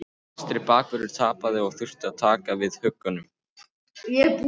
Vinstri bakvörðurinn tapaði og þurfti að taka við höggunum.